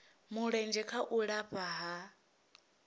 mulenzhe kha u lafha ha